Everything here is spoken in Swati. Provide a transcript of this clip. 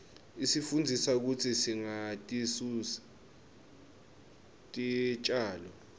isifundzisa kutsi singatisusi titjalo